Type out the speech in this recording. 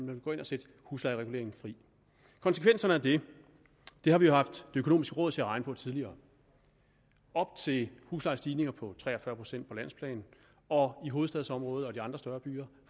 vil gå ind og sætte huslejereguleringen fri konsekvenserne af det har vi haft det økonomiske råd til at regne på tidligere op til huslejestigninger på tre og fyrre procent på landsplan og i hovedstadsområdet og i de andre større byer